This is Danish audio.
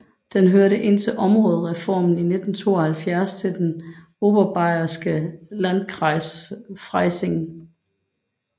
Den hørte indtil områdereformen i 1972 til den oberbayerske Landkreis Freising